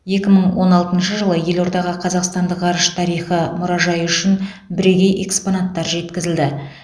екі мың он алтыншы жылы елордаға қазақстандық ғарыш тарихы мұражайы үшін бірегей экспонаттар жеткізілді